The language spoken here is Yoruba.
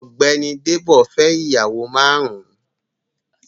Ọ̀gbẹ́ni Débò fẹ́ ìyàwó márùn-ún.